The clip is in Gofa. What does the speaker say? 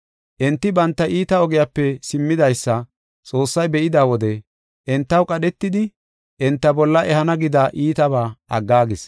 Enti banta iita ogiyape simmidaysa Xoossay be7ida wode entaw qadhetidi enta bolla ehana gida iitaba aggaagis.